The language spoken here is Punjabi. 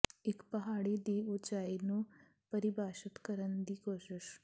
ਇੱਕ ਪਹਾੜੀ ਦੀ ਉਚਾਈ ਨੂੰ ਪਰਿਭਾਸ਼ਤ ਕਰਨ ਦੀ ਕੋਸ਼ਿਸ਼